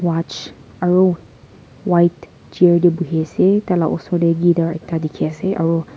watch aru white chair te bohi asetar laga esor te guitar ekta dekhi ase aru.